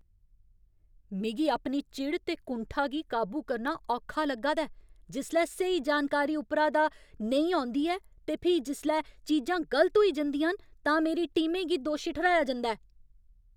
मिगी अपनी चिड़ ते कुंठा गी काबू करना औखा लग्गा दा ऐ जिसलै स्हेई जानकारी उप्परा दा नेईं औंदी ऐ ते फ्ही जिसलै चीजां गलत होई जंदियां न तां मेरी टीमें गी दोशी ठर्हाया जंदा ऐ।